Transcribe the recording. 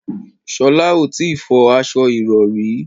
Sholá ò tí ì fọ aṣo ìrọrí